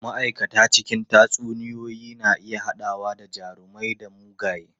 Ma'aikata cikin tatsuniyoyi na iya haɗawa da jarumai da mugaye.